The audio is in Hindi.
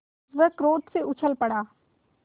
वह क्रोध से उछल पड़ा